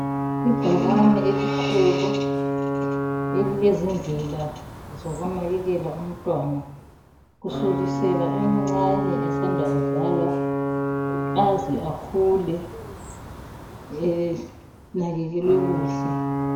Ibhakane elikhulu elilezindlela zokunakekela umntwana. Kusukisela emncane esanda kuzalwa aze akhule enakekelwe kuhle.